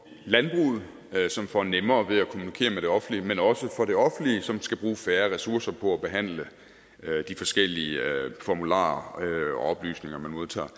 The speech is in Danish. landbruget som får nemmere ved at kommunikere med det offentlige men også til for det offentlige som skal bruge færre ressourcer på at behandle de forskellige formularer og oplysninger man modtager